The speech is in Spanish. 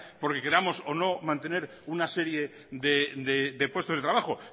porque queramos o no mantener una serie de puestos de trabajo